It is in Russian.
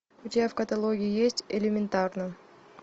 у тебя в каталоге есть элементарно